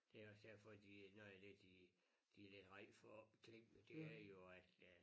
Det også derfor de nogen de de vil herind for Klink det er jo at øh